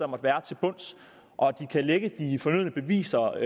måtte være til bunds og at de kan lægge de fornødne beviser